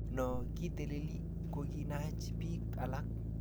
No kiteleli kokinach bik alak